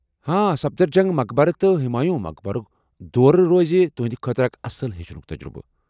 سفدر جنٛگ مقبر تہٕ ہمایوں مقبرٗک دورٕ روز تہنٛدِ خٲطرٕ اکھ اصٕل ہیٚچھنک تجربہٕ۔